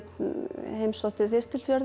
heimsótti